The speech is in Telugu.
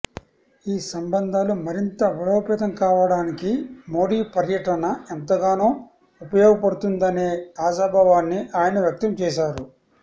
ఈ సంబంధాలు మరింత బలోపేతం కావడానికి మోడీ పర్యటన ఎంతగానో ఉపయోగపడుతుందనే ఆశాభావాన్ని ఆయన వ్యక్తం చేసారు